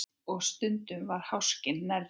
Og stundum var háskinn nærri.